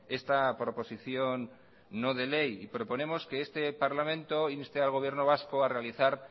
esta proposición no de ley y proponemos que este parlamento inste al gobierno vasco a realizar